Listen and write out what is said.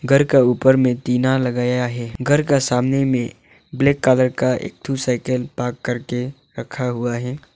घर का ऊपर में टीना लगाया है घर का सामने में ब्लैक कलर का एक ठो साइकिल पार्क करके रखा हुआ है।